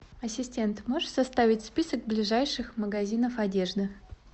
ассистент можешь составить список ближайших магазинов одежды